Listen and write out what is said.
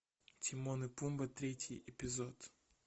тимон и пумба третий эпизод